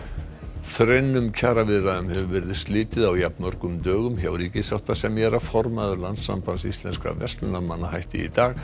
þrennum kjaraviðræðum hefur verið slitið á jafnmörgum dögum hjá ríkissáttasemjara formaður Landssambands íslenskra verslunarmanna hætti í dag